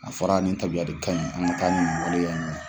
A fɔra nin tabiya ka ɲi, an bɛ taa ni nin waleya ɲɛ.